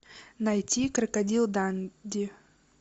найти крокодил данди